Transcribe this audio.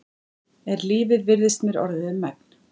Er lífið virðist mér orðið um megn.